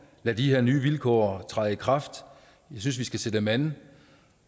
lade de her vilkår træde i kraft jeg synes vi skal se dem an